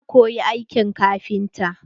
Na koyi aikin kafinta.